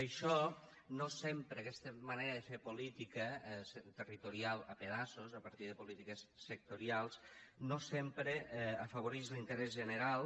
això no sempre aquesta manera de fer política territorial a pedaços a partir de polítiques sectorials no sempre afavorix l’interès general